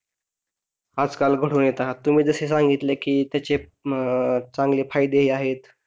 आजकाल घडून येतात तुम्ही जसे सांगितले की त्याचे अह चांगले फायदे ही आहे